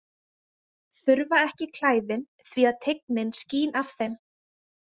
Þurfa ekki klæðin því að tignin skín af þeim.